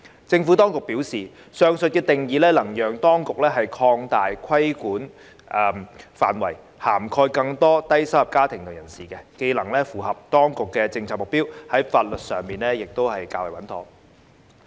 政府當局表示，上述定義能讓當局擴大規管範圍，涵蓋更多低收入家庭及人士，這既能符合當局的政策目標，在法律上亦較為穩妥。